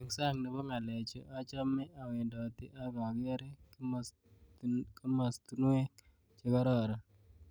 Eng sang nebo ngalechu achamei awendoti ak akerei kimostonwek chekararon